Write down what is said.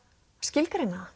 skilgreina